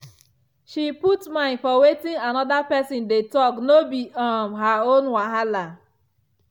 she put mind for wetin another person dey talk no be um her own wahala.